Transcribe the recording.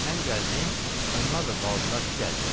Mən gəldim, onlar da qaldılar ki, gəlsinlər.